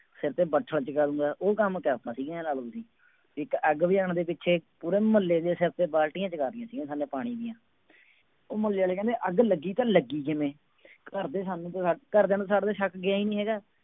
ਸਿਰ ਤੇ ਬੱਠਲ ਚੁਕਾ ਦੇਵਾਂਗਾ, ਉਹ ਕੰਮ ਕਰਤਾ ਸੀ, ਇਉਂ ਲਾ ਲਓ ਤੁਸੀਂ, ਇੱਕ ਅੱਗ ਬੁਝਾਉਣ ਦੇ ਪਿੱਛੇ ਪੂਰੇ ਮੁਹੱਲੇ ਦੇ ਸਿਰ ਤੇ ਬਾਲਟੀਆਂ ਚੁਕਾ ਦਿੱਤੀਆਂ ਸੀਗੀਆਂ ਸਾਨੇ ਪਾਣੀ ਦੀਆਂ ਉਹ ਮੁਹੱਲੇ ਵਾਲੇ ਕਹਿੰਦੇ ਅੱਗ ਲੱਗੀ ਤਾਂ ਲੱਗੀ ਕਿਵੇਂ ਘਰਦੇ ਸਾਨੂੰ ਘਰਦਿਆਂ ਨੂੰ ਸਾਡੇ ਤੇ ਸ਼ੱਕ ਗਿਆ ਹੀ ਨੀ ਹੈਗਾ।